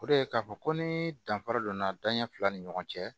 O de ye k'a fɔ ko ni danfara donna danɲɛ fila ni ɲɔgɔn cɛ